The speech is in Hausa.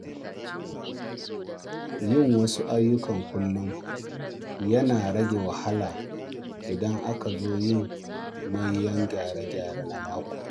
Yin wasu ayyuka kullum yana rage wahala idan aka zo yin manyan gyare-gyare na mako.